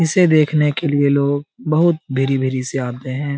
इसे देखने के लिए लोग बहुत भेरी-भेरी से आते है।